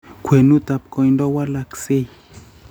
kwenutap koindo - walaksei